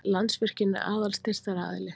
Landsvirkjun er aðal styrktaraðili